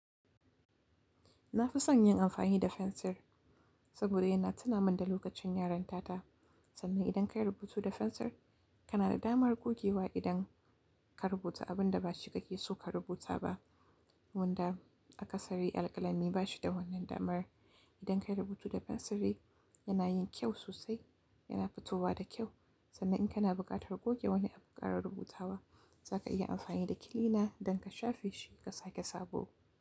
Na fi son yin amfani da fensir saboda yana tuna min da lokacin yaranta ta. Sannan idan ka yi rubutu da fensir, kana da damar gogewa idan ka rubuta abin da ba shi ka ke so ka rubuta ba. Wanda akasari alƙalami ba shi da wannan damar. Idan ka yi rubutu da fensir yana yin kyau sosai, yana fitowa da kyau. Sannan in kana buƙatar goge wani abu ka rubuta wa, za ka iya amfani da kilina don ka shafe shi ka sake sabo.